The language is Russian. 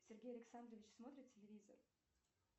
сергей александрович смотрит телевизор